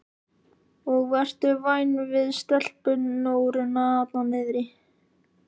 Og vertu væn við stelpunóruna þarna niðri.